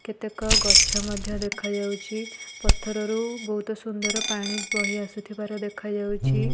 କେତେକ ଗଛ ମଧ୍ୟ ଦେଖାଯାଉଛି ପଥରରୁ ବୋହୁତ ସୁନ୍ଦର ପାଣି ବହି ଆସୁଥିବାର ଦେଖାଯାଉଛି।